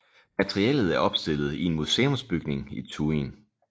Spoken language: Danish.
Materiellet er opstillet i en museumsbygning i Thuin